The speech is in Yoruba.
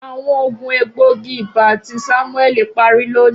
Awọn oogun egboogi-iba ti Samueli pari loni.